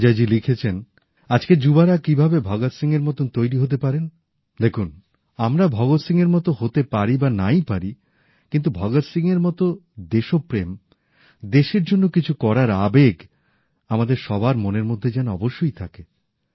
অজয়জী লিখেছেন আজকের যুবারা কিভাবে ভগৎ সিংহের মতন তৈরি হতে পারেন দেখুন আমরা ভগৎ সিংহের মত হতে পারি বা নাই পারি কিন্তু ভগৎ সিংহের মত দেশপ্রেম দেশের জন্য কিছু করার আবেগ আমাদের সবার মনের মধ্যে যেন অবশ্যই থাকে